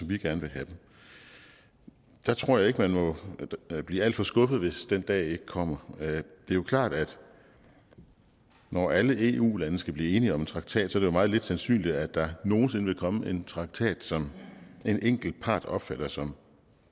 vi gerne vil have dem jeg tror ikke man må blive alt for skuffet hvis den dag ikke kommer det er jo klart at når alle eu lande skal blive enige om en traktat er det meget lidt sandsynligt at der nogen sinde vil komme en traktat som en enkelt part opfatter som